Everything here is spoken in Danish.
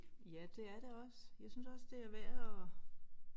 Ja det er det også jeg synes også det er værd at